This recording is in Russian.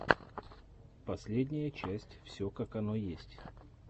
последняя часть все как оно есть